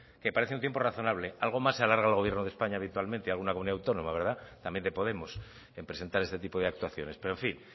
que parece un tiempo razonable algo más se alarga el gobierno de españa habitualmente alguna comunidad autónoma verdad también de podemos en presentar este tipo de actuaciones pero en fin